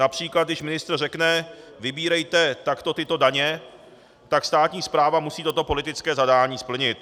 Například když ministr řekne "vybírejte takto tyto daně", tak státní správa musí toto politické zadání splnit.